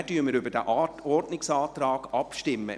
Danach stimmen wir über diesen Ordnungsantrag ab.